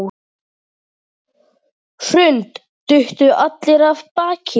Hrund: Duttu allir af baki?